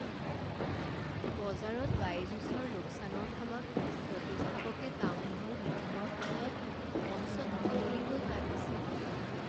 বজাৰত বাইজুছৰ লোকচানৰ ফলত প্ৰতিষ্ঠাপকে টাউনহল মিটিঙৰ সময়ত মঞ্চত মুকলিকৈ কান্দিছিল।